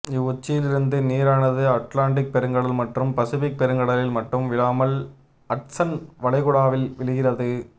இவ்வுச்சியிலிருந்து நீரானது அட்லாண்டிக் பெருங்கடல் மற்றும் பசிபிக் பெருங்கடலில் மட்டும் விழாமல் அட்சன் வலைகுடாவிலும் விழுகிறது